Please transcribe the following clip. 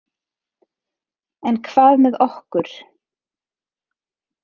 En hvað með okkur?